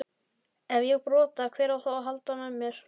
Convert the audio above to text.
Ef ég brota, hver á þá að halda á mér?